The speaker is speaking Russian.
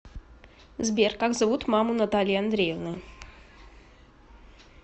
сбер как зовут маму натальи андреевны